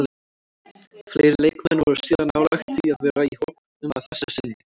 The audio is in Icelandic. Fleiri leikmenn voru síðan nálægt því að vera í hópnum að þessu sinni.